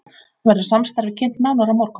Verður samstarfið kynnt nánar á morgun